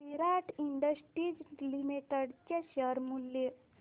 विराट industries limited चे share मूल्य